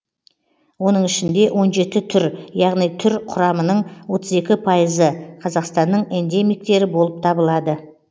оның ішінде он жеті түр яғни түр құрамының отыз екі пайызы қазақстанның эндемиктері болып табылады